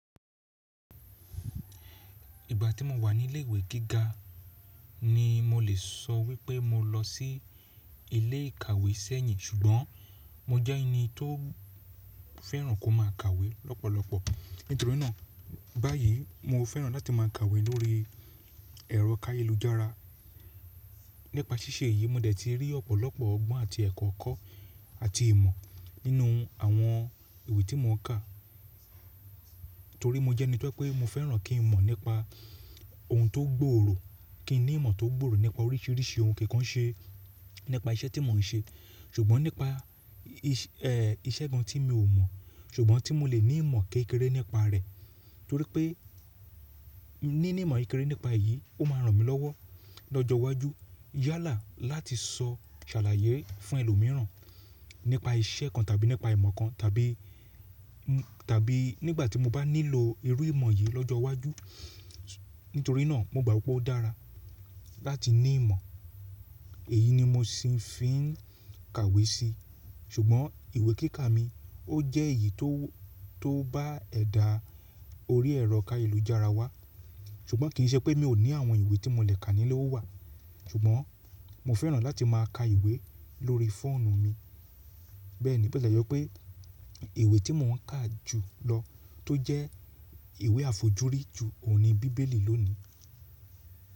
Ìgbà tí mo wà ní ilé ìwé gíga ni mo lè sọ wípé mo lọ sí ilé ìkàwé sẹ́yìn ṣùgbọ́n mo jẹ́ ẹni tó fẹ́ràn kó má a kàwé lọ́pọ̀lọpọ̀. Nítorí náà báyìí mo fẹ́ràn láti má a kàwé lórí ẹ̀rọ ayelujara Nípa ṣíṣe yìí mo dẹ̀ ti rí ọ̀pọ̀lọpọ̀ ọgbọ́n àti ẹ̀kọ́ kọ́ àti ìmọ̀ nínú àwọn ìwé tí mò ń kà. Torí mo jẹ́ ẹni tó pé mo fẹ́ràn kí n mọ̀ nípa ohun tó gbòòrò, kí n ní ìmọ̀ tó gbòòrò nípa oríṣiríṣi ohun, kìkan ṣe nípa iṣẹ́ tí mò ń ṣe ṣùgbọ́n nípa iṣẹ́ kan tí mi ò mọ̀ ṣùgbọ́n tí mo lè ní ìmọ̀ kékeré nípa rẹ̀. Torí pé níní ìmọ̀ kekere nípa èyí ó máa ràn mí lọ́wọ́ lọ́jọ́ iwájú yálà láti sọ ṣàlàyé fún ẹlòmíràn nípa iṣẹ́ kan tàbí nípa ìmọ̀ kan tàbí, tàbí nígbà tí mo bá nílò irú ìmọ̀ yìí lọ́jọ́ iwájú. Nítorí náà mo gbàgbọ́ pe o dára láti ní ìmọ̀. Èyí ni mo ṣì ń fi n kàwé si ṣùgbọ́n ìwé kíka mi ó jẹ́ èyí tó bá ẹ̀dà orí ẹ̀rọ ayelujara wá. Ṣùgbọ́n kì í ṣe pé mi ò ní àwọn ìwé tí mò lè kà níle o wà. Ṣùgbọ́n mo fẹ́ràn láti má a ka ìwé lórí fóònù mi. Bẹ́ẹ̀ni bo ti lè jẹ́ wipé ìwé tí mò ń kà jù lọ tó jẹ́ ìwé àfojúrí ju òun ni bíbélì lónìí.